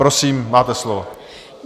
Prosím, máte slovo.